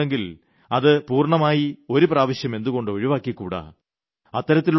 പഴയതെന്തെങ്കിലുമുണ്ടെങ്കിൽ അത് പൂർണമായി ഒരു പ്രാവശ്യം എന്തുകൊണ്ട് ഒഴിവാക്കിക്കൂടാ